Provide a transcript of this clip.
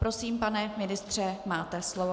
Prosím, pane ministře, máte slovo.